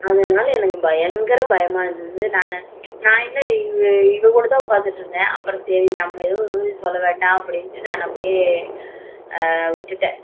அதனால எனக்கு பயங்கர பயமா இருந்துச்சு நான் என்ன இவ கூட என்கூட கெத்தா உட்கார்ந்து இருந்தேன் அப்புறம் சரி சரி எதுவும் சொல்ல வேண்டாம்னு நான் அப்படியே விட்டேன்